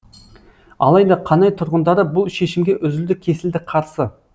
алайда қанай тұрғындары бұл шешімге үзілді кесілді қарсы